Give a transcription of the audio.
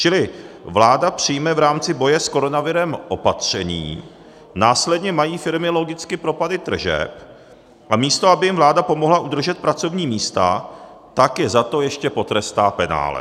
Čili vláda přijme v rámci boje s koronavirem opatření, následně mají firmy logicky propady tržeb, a místo aby jim vláda pomohla udržet pracovní místa, tak je za to ještě potrestá penále.